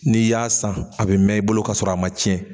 N'i y'a san a bɛ mɛn i bolo ka sɔrɔ a ma cɛn